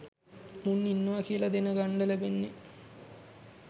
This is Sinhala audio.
මුන් ඉන්නවා කියලා දෙන ගන්ඩ ලෙබෙන්නේ.